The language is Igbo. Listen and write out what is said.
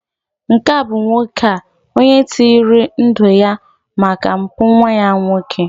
nke a bụ nwoke a, onye tinyere ndu ya maka mpụ nwa ya nwoke